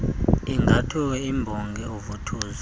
ingamthuki imbonga oovuthuza